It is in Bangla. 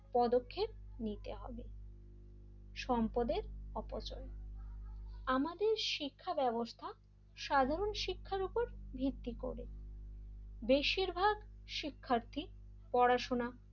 পদক্ষেপ নিতে হবে সম্পদের অপচয় আমাদের শিক্ষা ব্যবস্থা সাধারণ শিক্ষার উপর ভিত্তি করে বেশিরভাগ শিক্ষার্থী পড়াশোনা,